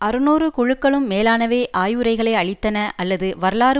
அறுநூறு குழுக்களும் மேலானவை ஆய்வுரைகளை அளித்தன அல்லது வரலாறு